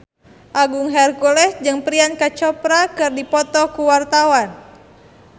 Agung Hercules jeung Priyanka Chopra keur dipoto ku wartawan